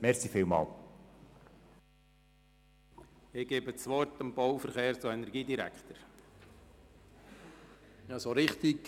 Ich gebe dem Bau-, Verkehrs- und Energiedirektor das Wort.